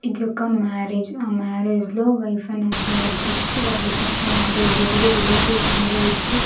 ఇది ఒక మ్యారేజ్ ఆ మ్యారేజ్ లో వైఫ్ అండ్ హస్బెండ్ ఇద్దరికీ వాళ్ళద్దరికీ మ్యారేజ్ జరిగి రిలేటివ్స్ అందరూ వచ్చి.